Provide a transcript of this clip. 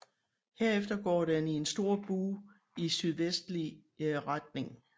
Herefter går den i en stor bue i sydvestlige retning